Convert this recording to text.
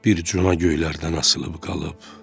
Bir cürə göylərdən asılıb qalıb.